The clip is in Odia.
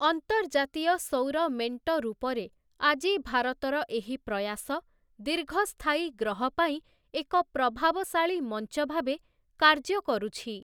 ଅନ୍ତର୍ଜାତୀୟ ସୌର ମେଂଟ ରୂପରେ ଆଜି ଭାରତର ଏହି ପ୍ରୟାସ ଦୀର୍ଘସ୍ଥାୟୀ ଗ୍ରହ ପାଇଁ ଏକ ପ୍ରଭାବଶାଳୀ ମଂଚ ଭାବେ କାର୍ଯ୍ୟ କରୁଛି ।